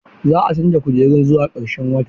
Za a canza kujerun zuwa ƙarshen wata.